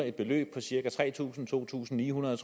et beløb på cirka tre tusind kroner to tusind ni hundrede